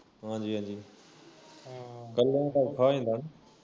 ਹਾਜੀ ਹਾਜੀ ਕੱਲਾ ਤਾਂ ਔਖਾ ਹੋ ਜਾਂਦਾ